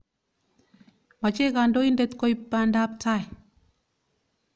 Mache kandoindet koip pandaap taai.